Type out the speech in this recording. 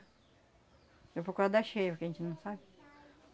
Depois por causa da cheia porque a gente não sabe.